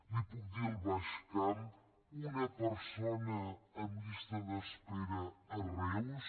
li puc dir al baix camp un persona en llista d’espera a reus